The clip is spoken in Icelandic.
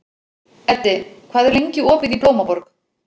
Eddi, hvað er lengi opið í Blómaborg?